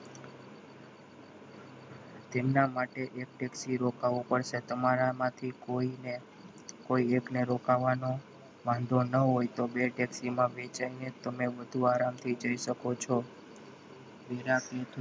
તેમના માટે એક taxi થી રોકાવું પડશે તમારામાંથી કોઈને ને એક ને રોકાવાનું વાંધો ન હોય તો બે taxi માં તમે બધું આરામથી જઈ શકો છો.